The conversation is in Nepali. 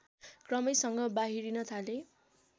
क्रमैसँग बाहिरिन थाले